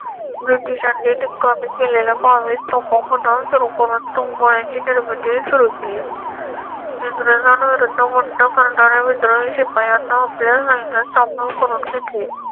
ब्रिटिशांनी निकामी केलेल्या बावीस तोफा मुद्दा स्वरूपा तोफ गोळ्यांची निर्मिती सुरू केली. इंग्रजांवर मंदमंद करणाऱ्या विद्वान शिपायांना आपल्या सैन्यात सामील करून घेतले.